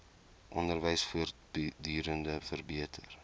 onderwys voortdurend verbeter